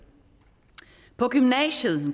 på gymnasiet